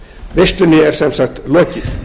veislunni er sem sagt lokið